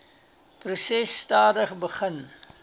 proses stadig begin